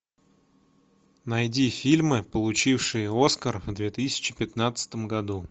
найди фильмы получившие оскар в две тысячи пятнадцатом году